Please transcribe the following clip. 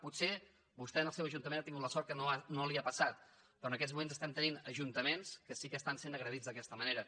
potser vostè en el seu ajuntament ha tingut la sort que no li ha passat però en aquests moments estem tenint ajuntaments que sí que estan sent agredits d’aquesta manera